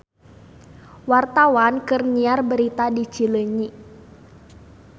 Wartawan keur nyiar berita di Cileunyi